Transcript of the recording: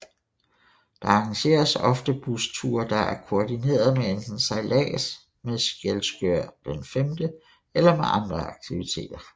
Der arrangeres ofte busture der er kordinerede med enten sejllads med Skjelskør V eller med andre aktiviteter